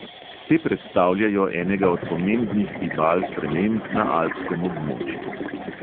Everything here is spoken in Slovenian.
Te predstavljajo enega od pomembnih gibal sprememb na alpskem območju.